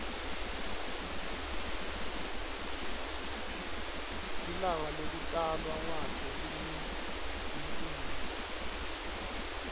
lilangalekutalwa kwakhe linemcimbi